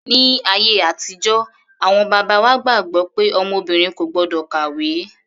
Ní ayé àtijọ́ awọn bàbá wa gbàgbọ́ pé ọmọ obìnrin kò gbọ́dọ̀ kàwé.